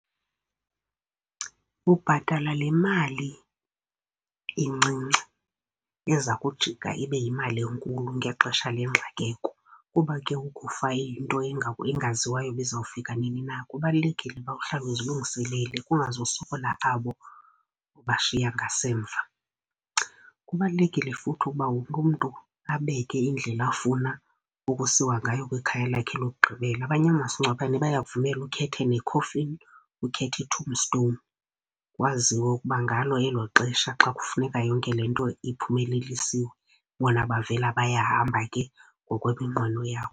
Ubhatala le mali incinci eza kujika ibe yimali enkulu ngexesha lengxakeko. Kuba ke ukufa yinto engaziwayo uba izawufika nini na, kubalulekile uba uhlale uzilungiselele kungazusokola abo ubashiya ngasemva. Kubalulekile futhi ukuba wonke umntu abeke indlela afuna ukusiwa ngayo kwikhaya lakhe lokugqibela. Abanye omasingcwabane bayakuvumela ukhethe ne-coffin, ukhethe i-tombstone, waziwe ukuba ngalo elo xesha xa kufuneka yonke le nto iphumelelisiwe, bona bavela bayahamba ke ngokweminqweno yakho.